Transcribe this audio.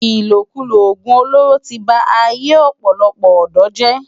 Ilókúló ógún ólóró ti bá áiyé òpòlòpò òdò jè